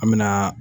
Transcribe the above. An me na